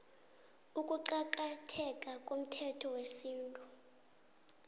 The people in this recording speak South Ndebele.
ukuqakatheka komthetho wesintu